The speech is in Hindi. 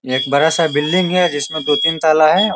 एक बड़ा सा बिल्डिंग है जिसमे दो तीन ताला है।